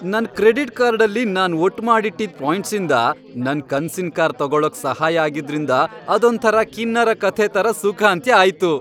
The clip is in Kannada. ನನ್ ಕ್ರೆಡಿಟ್ ಕಾರ್ಡಲ್ಲಿ ನಾನ್ ಒಟ್ಮಾಡಿಟ್ಟಿದ್ ಪಾಯಿಂಟ್ಸಿಂದ ನನ್ ಕನ್ಸಿನ್ ಕಾರ್ ತಗೊಳಕ್ ಸಹಾಯ ಆಗಿದ್ರಿಂದ ಅದೊಂಥರ ಕಿನ್ನರ ಕಥೆ ಥರ ಸುಖಾಂತ್ಯ ಆಯ್ತು.